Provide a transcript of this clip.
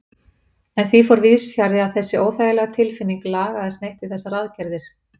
En því fór víðsfjarri að þessi óþægilega tilfinning lagaðist neitt við þessar aðgerðir.